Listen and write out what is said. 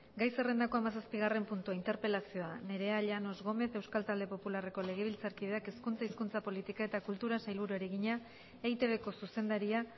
gai zerrendako hamazazpigarren puntua interpelazioa nerea llanos gómez euskal talde popularreko legebiltzarkideak hezkuntza hizkuntza politika eta kulturako sailburuari egina eitbko zuzendaria